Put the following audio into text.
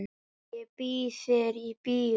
Ég býð þér í bíó.